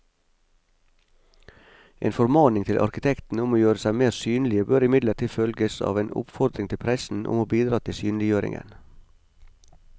En formaning til arkitektene om å gjøre seg mer synlige bør imidlertid følges av en oppfordring til pressen om å bidra til synliggjøringen.